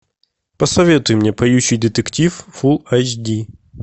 посоветуй мне поющий детектив фулл эйч ди